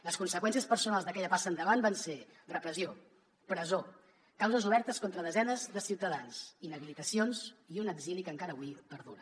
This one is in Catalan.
les conseqüències personals d’aquella passa endavant van ser repressió presó causes obertes contra desenes de ciutadans inhabilitacions i un exili que encara avui perdura